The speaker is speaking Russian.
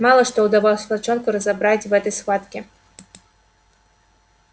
мало что удалось волчонку разобрать в этой схватке